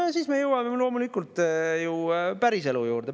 No ja siis me jõuame loomulikult ju päriselu juurde.